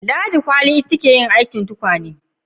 Ladi kwali ta yi aikin tukwane